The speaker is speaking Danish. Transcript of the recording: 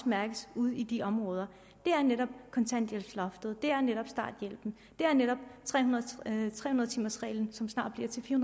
mærkes ude i de områder det er netop kontanthjælpsloftet det er netop starthjælpen det er netop tre hundrede timers reglen som snart bliver til fire